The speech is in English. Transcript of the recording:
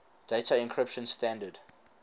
data encryption standard